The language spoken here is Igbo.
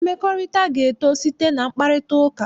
Mmekọrịta ga-eto site na mkparịtaụka.